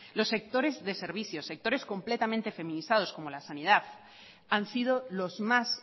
los sectores de servicios sectores completamente feminizados como la sanidad han sido los más